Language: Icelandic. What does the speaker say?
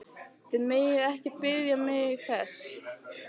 Þið megið ekki biðja mig þess!